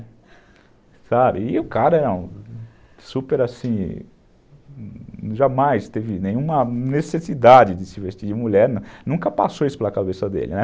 E o cara era super assim, jamais teve nenhuma necessidade de se vestir de mulher, nunca passou isso pela cabeça dele, né.